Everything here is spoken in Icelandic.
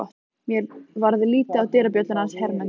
Mér varð litið á dyrabjölluna hans Hermundar.